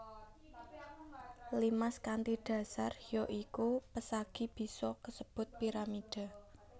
Limas kanthi dasar ya iku pesagi bisa uga kasebut piramida